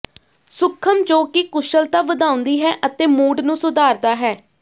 ਸੂਖਮ ਜੋ ਕਿ ਕੁਸ਼ਲਤਾ ਵਧਾਉਂਦੀ ਹੈ ਅਤੇ ਮੂਡ ਨੂੰ ਸੁਧਾਰਦਾ ਹੈ